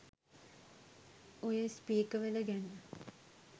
ඔය .. .ස්පිකර්වල . ගැන.